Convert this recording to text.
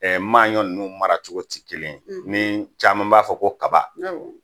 maaɲɔn ninnu mara cogo tɛ kelen ni caman b'a fɔ ko kaba. Awɔ.